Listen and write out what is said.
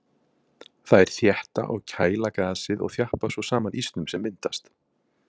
Þær þétta og kæla gasið og þjappa svo saman ísnum sem myndast.